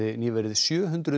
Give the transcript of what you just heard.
nýverið sjö hundruð